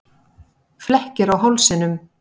Flekkir á hálsinum.